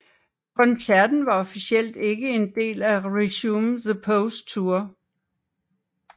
Koncerten var officielt ikke en del af Resume the Pose Tour